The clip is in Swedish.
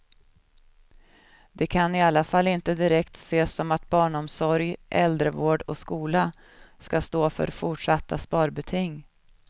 Det kan i alla fall inte direkt ses som att barnomsorg, äldrevård och skola skall stå för fortsatta sparbeting.